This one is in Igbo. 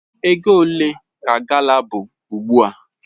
Ego ole ka gala bu ugbua?